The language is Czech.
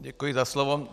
Děkuji za slovo.